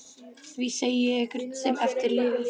Því segi ég ykkur sem eftir lifið.